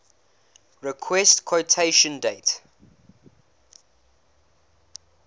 request quotation date